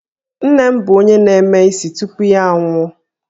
Nne m bụ onye na-eme isi tupu ya anwụọ